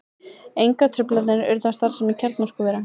Engar truflanir urðu á starfsemi kjarnorkuvera